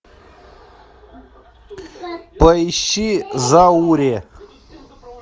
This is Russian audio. поищи зауре